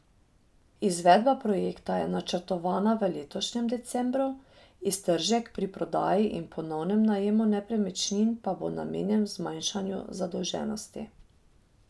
Izvedba projekta je načrtovana v letošnjem decembru, iztržek pri prodaji in ponovnem najemu nepremičnin pa bo namenjen zmanjšanju zadolženosti.